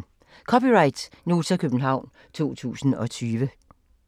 (c) Nota, København 2020